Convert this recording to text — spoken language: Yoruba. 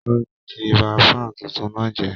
Kọ́la ti ba fan tuntun náà jẹ́